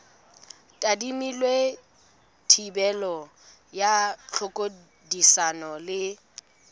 tadimilwe thibelo ya tlhodisano le